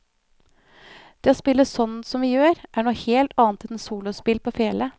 Det å spille sånn som vi gjør, er noe helt annet enn solospill på fele.